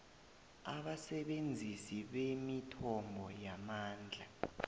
abasebenzisi bemithombo yamandla